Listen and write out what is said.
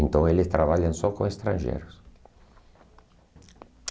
Então eles trabalham só com estrangeiros.